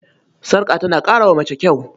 Sarƙa tana ƙara wa mace kyau.